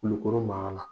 Kulukoro mara la